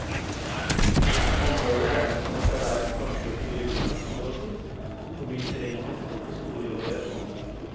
Området regnes som et av verdens vakreste villmarksområder og byr terrengmessig på store variasjoner.